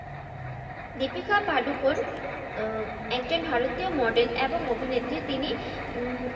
দ্বিপিকা পাডুকোন উম একজন ভারতীয় model এবং অভিনেত্রি তিনি উম